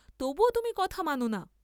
তবুও তুমি কথা মাননা?